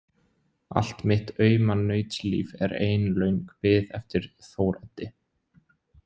Allt mitt auma nautslíf er ein löng bið eftir Þóroddi.